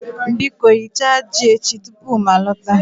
Biko Ghichaa ji echi tupu m alọta